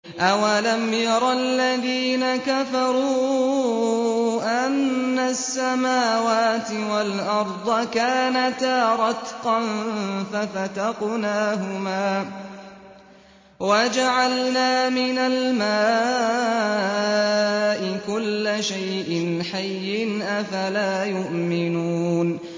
أَوَلَمْ يَرَ الَّذِينَ كَفَرُوا أَنَّ السَّمَاوَاتِ وَالْأَرْضَ كَانَتَا رَتْقًا فَفَتَقْنَاهُمَا ۖ وَجَعَلْنَا مِنَ الْمَاءِ كُلَّ شَيْءٍ حَيٍّ ۖ أَفَلَا يُؤْمِنُونَ